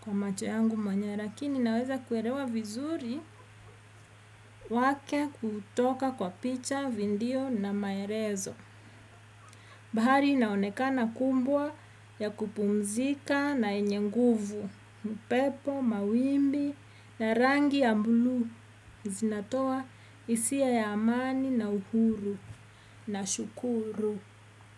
Kwa macho yangu mwenyewe rakini naweza kuerewa vizuri wake kutoka kwa picha, vindio na maerezo. Bahari inaonekana kumbwa ya kupumzika na yenye nguvu, mpepo, mawimbi na rangi ya mbluu. Zinatoa isia ya amani na uhuru nashukuru.